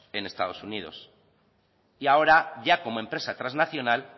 en estados unidos y ahora ya como empresa transnacional